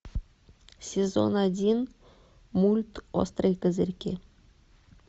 сезон один мульт острые козырьки